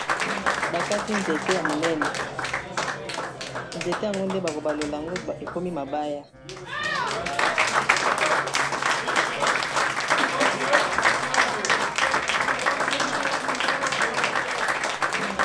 Bakati nzete ya monene, nzete yango nde bako balola yango ekomi mabaya.